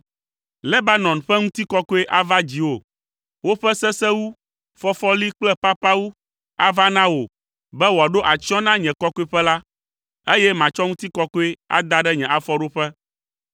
“Lebanon ƒe ŋutikɔkɔe ava dziwò. Woƒe sesewu, fɔfɔli kple papawu ava na wò be woaɖo atsyɔ̃ na nye kɔkɔeƒe la, eye matsɔ ŋutikɔkɔe ada ɖe nye afɔɖoƒe.